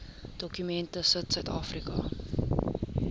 dokument sit suidafrika